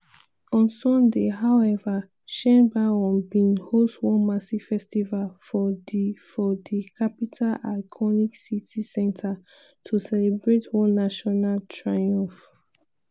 on sunday however sheinbaum bin host one massive festival for di for di capital iconic city centre to celebrate one "national triumph".